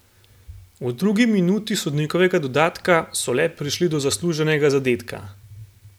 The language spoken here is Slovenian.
V drugi minuti sodnikovega dodatka so le prišli do zasluženega zadetka.